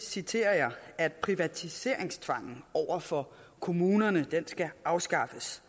citerer jeg at privatiseringstvangen over for kommunerne skal afskaffes